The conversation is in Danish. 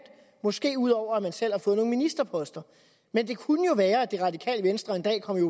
måske ud over at man selv har fået nogle ministerposter men det kunne jo være at det radikale venstre en dag kom i